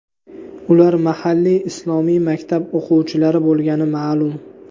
Ular mahalliy islomiy maktab o‘quvchilari bo‘lgani ma’lum.